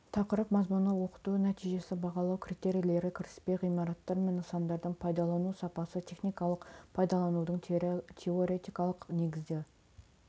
тақырып мазмұны оқыту нәтижесі бағалау критерийлері кіріспе ғимараттар мен нысандардың пайдалану сапасы техникалық пайдаланудың теоретикалық негізі